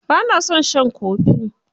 Ba na son shan kofi.